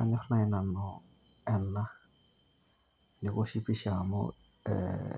Anyorr nai nanu ena, newoshi pisha amu ee